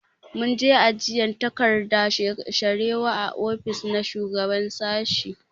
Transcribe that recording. Mun je ajiyan takardan sharewa a ofis na shugaban sashi.